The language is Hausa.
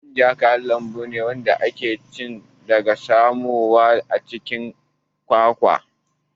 Manja man kayan lambu ne da ake ci wanda aka samo daga ƙwansan ƴaƴan itacen kwakwa.